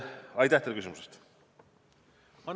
Aitäh teile küsimuse eest!